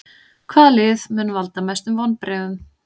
Hvaða lið mun valda mestum vonbrigðum?